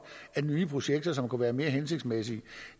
af nye projekter som kunne være mere hensigtsmæssige